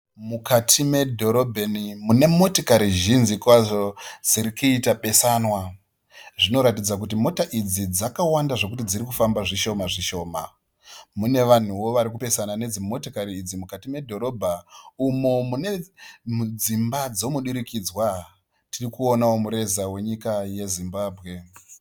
Mukati medhorobheni mune motikari zhinji kwazvo dziri kuita besanwa zvinoratidza kuti mota idzi dzakawanda zvokuti dziri kufamba zvishoma zvishoma, mune vanhuwo varikupesana nedzimotikari idzi mukati medhorobha umo mudzimba dzemudurukidzwa tiri kuonawo mureza wenyika yeZimbabwe.